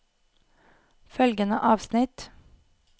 Følgende avsnitt